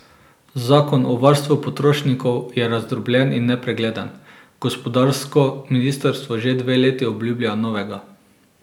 Zakon o varstvu potrošnikov je razdrobljen in nepregleden, gospodarsko ministrstvo že dve leti obljublja novega.